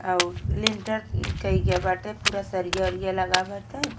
और लिंटर की कई गया बाटे पूरा सरिया उरिया लगा बाटे।